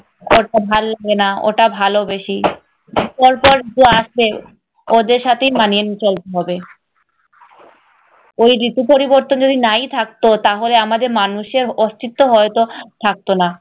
এটা ভাল্লাগে না, ওটা ভালো বেশি। পর পর যে আসবে ওদের সাথেই মানিয়ে নিতে হবে। ওই ঋতু পরিবর্তন যদি নাই থাকতো তাহলে আমাদের মানুষের অস্তিত্ব হয়ত থাকতো না।